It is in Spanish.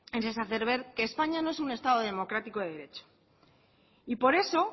es hacer ver que españa no es un estado democrático de derecho y por eso